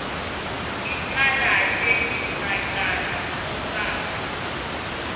icalate macala onkhana